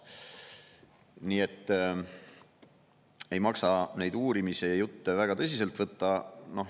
Nii et ei maksa neid uurimise jutte väga tõsiselt võtta.